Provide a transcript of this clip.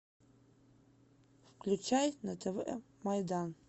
включай на тв майдан